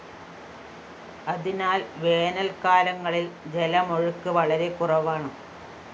അതിനാല്‍ വേനല്‍ക്കാലങ്ങളില്‍ ജലമൊഴുക്ക് വളരെ കുറവാണ്